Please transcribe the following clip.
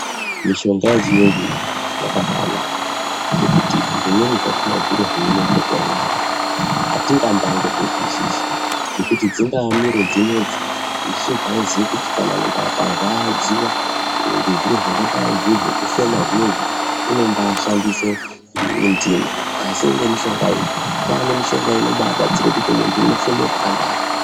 Mishonga yechiyungu iyi yakabaanaka ngekuti zvimweni zvachona zviro zveinopota yeirapa hatingambaangozvizwisisi. Ngekuti dzingaa miro dzinedzi isusu taiziye kuti kana muntu akarwadziwa ngezviro zvingadai zviri zvrikufema zvinezvi unombaashandise ndimu. Asi ngemishonga iyi, kwaanemishonga inombaabatsire kuti muntu unobaafeme zvakanaka.